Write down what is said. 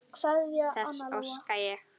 Þess óska ég.